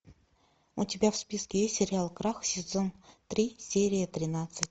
у тебя в списке есть сериал крах сезон три серия тринадцать